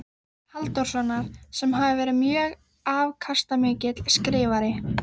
Halldórssonar, sem hafi verið mjög afkastamikill skrifari.